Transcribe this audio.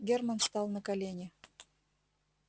герман стал на колени